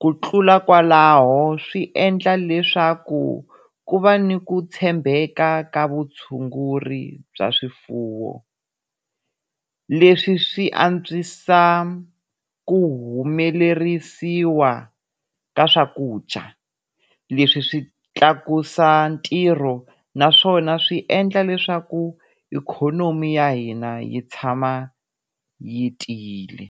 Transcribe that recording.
Ku tlula kwalaho swi endla leswaku ku va ni ku tshembeka ka vutshunguri bya swifuwo, leswi swi antswisa ku humelerisiwa ka swakudya. Leswi swi tlakusa ntirho naswona swi endla leswaku ikhonomi ya hina yi tshama yi tiyile.